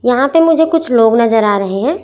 यहां पे मुझे कुछ लोग नजर आ रहे हैं।